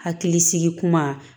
Hakili sigi kuma